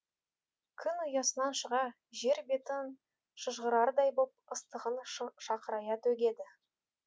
күн ұясынан шыға жер бетін шыжғырардай боп ыстығын шақырая төгеді